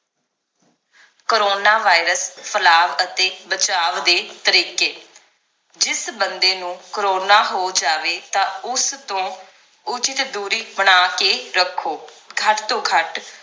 coronivirus ਫੈਲਾਵ ਅਤੇ ਬਚਾਵ ਦੇ ਤਰੀਕੇ ਜਿਸ ਬੰਦੇ ਨੂੰ ਕਰੋਨਾ ਹੋ ਜਾਵੇ ਤਾਂ ਉਸ ਤੋਂ ਉਚਿਤ ਦੂਰੀ ਬਣਾ ਕੇ ਰੱਖੋ ਘੱਟ ਤੋਂ ਘੱਟ